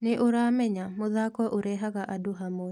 Nĩ ũramenya, mũthako ũrehaga andũ hamwe.